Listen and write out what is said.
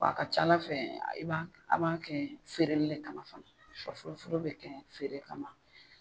A ka ca Ala fɛ i b'a a b'a kɛ feereli de kama fana, sɔfurufuru bɛ kɛ feere kama